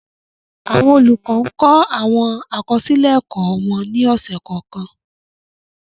Awọn olukọ ǹ kọ awọn akọsilẹ ẹkọ wọn ni ọsẹ kọọkan